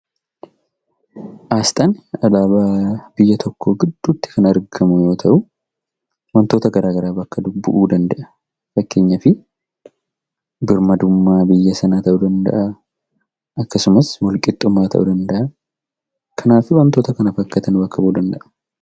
Asxaan alaabaa biyya tokkoo gidduutti kan argamu yoo ta'u, wantoota garaagaraa bakka bu'uu danda'a. Fakkeenyaaf, birmaddummaa biyya sanaa ta'uu danda'a. Akkasumas, walqixxummaa ta'uu danda'a. Kanaa fi wantoota kana fakkaatan bakka bu'uu danda'a.